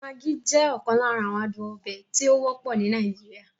Maggi jẹ́ okan lara awon aduon obe tí ó wọ́pọ̀ ní Nàìjíríà.